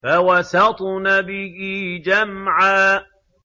فَوَسَطْنَ بِهِ جَمْعًا